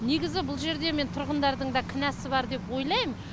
негізі бұл жерде мен тұрғындардың да кінәсі бар деп ойлайм